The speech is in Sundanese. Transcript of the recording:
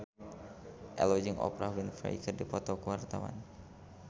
Ello jeung Oprah Winfrey keur dipoto ku wartawan